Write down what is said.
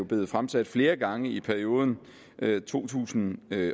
blevet fremsat flere gange i perioden to tusind